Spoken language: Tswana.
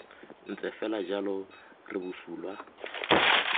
ntse fela jalo re bosula